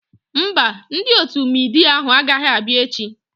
Mba, ndị otu midia ahu agaghị abịa echi